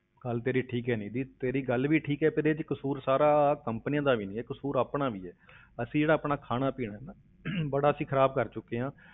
ਗੱਲ ਤੇਰੀ ਠੀਕ ਹੈ ਨਿੱਧੀ, ਤੇਰੀ ਗੱਲ ਵੀ ਠੀਕ ਹੈ, ਪਰ ਇਹਦੇ ਵਿੱਚ ਕਸ਼ੂਰ ਸਾਰਾ companies ਦਾ ਵੀ ਨੀ ਹੈ, ਕਸ਼ੂਰ ਆਪਣਾ ਵੀ ਹੈ ਅਸੀਂ ਜਿਹੜਾ ਆਪਣਾ ਖਾਣਾ ਪੀਣਾ ਹੈ ਨਾ ਬੜਾ ਅਸੀਂ ਖ਼ਰਾਬ ਕਰ ਚੁੱਕੇ ਹਾਂ।